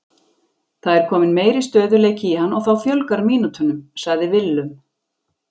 Það er kominn meiri stöðugleiki í hann og þá fjölgar mínútunum, sagði Willum.